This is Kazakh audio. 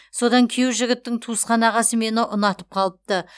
содан күйеу жігіттің туысқан ағасы мені ұнатып қалыпты